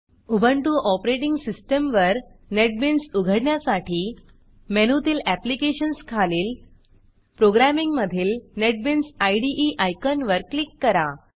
Ubuntu operating सिस्टीमवर NetBeans उघडण्यासाठी मेनूतील एप्लिकेशन्स ऍप्लीकेशन्स खालील प्रोग्रॅमिंग्ज प्रोग्रॅमिंग मधील नेटबीन्स इदे आयकॉनवर क्लिक करा